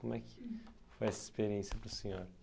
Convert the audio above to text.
Como é que foi essa experiência para o senhor?